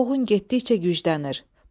Çovğun getdikcə güclənir.